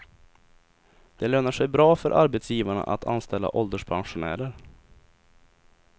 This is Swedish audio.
Det lönar sig bra för arbetsgivarna att anställa ålderspensionärer.